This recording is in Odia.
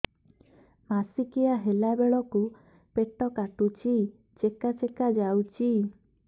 ମାସିକିଆ ହେଲା ବେଳକୁ ପେଟ କାଟୁଚି ଚେକା ଚେକା ଯାଉଚି